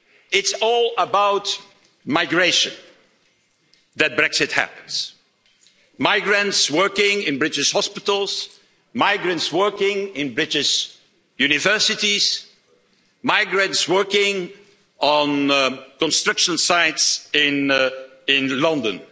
it. It's all about migration that Brexit is happening migrants working in British hospitals, migrants working in British universities, migrants working on construction sites in London.